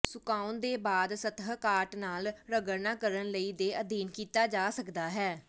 ਸੁਕਾਉਣ ਦੇ ਬਾਅਦ ਸਤਹ ਕਾਟ ਨਾਲ ਰਗੜਨਾ ਕਰਨ ਲਈ ਦੇ ਅਧੀਨ ਕੀਤਾ ਜਾ ਸਕਦਾ ਹੈ